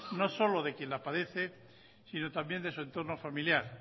no solo de quien la padece sino también de su entorno familiar